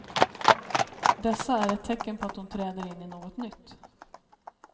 Dessa är ett tecken på att hon träder in i något nytt.